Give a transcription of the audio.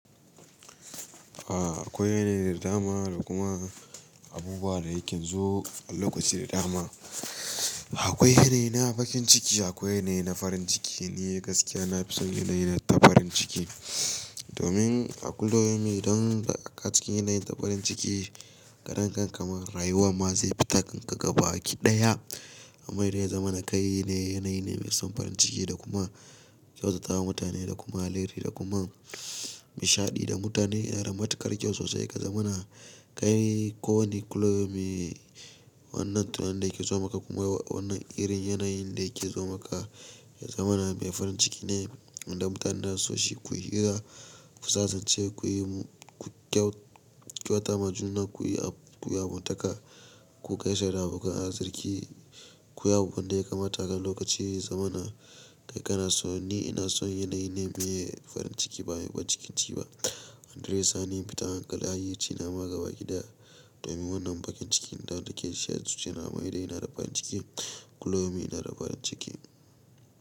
A akwai da dama da kuma abubuwa da yake zo a lokaci da dama. Akwai yanayi na bakin ciki, akwai yanayi na farin ciki. Ni gaskiya na fi son yanayi na ta farin ciki. Domin a kullu yaumin don idan baka cikin yanayin ta farin ciki, karan kanka ma rayuwa ma zai fita kanka gaba ki ɗaya. Amma ya zamana kai ne yanayi ne mai son farin ciki da kuma kyautatawa mutane da kuma alheri da kuma nishaɗi da mutane yana da matukar kyau sosai. Ka zama na kai ko wani kullu yaumin Wannan tunanin da yake zo maka kuma wannan irin yanayin da yake zo maka ya zama na mai farin ciki ne. Inda mutanen zasu so shi kuyi hira, ku sasanci, ku yi ku kyau-kyauta ma juna, ku yi abu, ku yi abotaka, ku gaisa da abokan arziki, ku yi abunda ya kamata har lokaci ya zamana kai kana so. Ni ina son yanayi ne na farin ciki, ba sai na bakin ciki ba. Yadda zai sani in fita hankali, hayyaci na ma gabaki ɗaya domin wannan bakin cikin don da yake shan suci nama idan yana da farin ciki. Kullu yaumin ina da farin ciki.